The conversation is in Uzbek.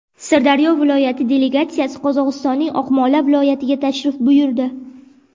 Sirdaryo viloyati delegatsiyasi Qozog‘istonning Oqmola viloyatiga tashrif buyurdi.